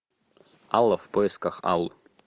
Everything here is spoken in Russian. алла в поисках аллы